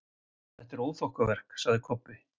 Þetta er óþokkaverk, sagði Kobbi.